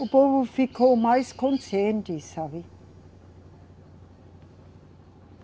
O povo ficou mais consciente, sabe?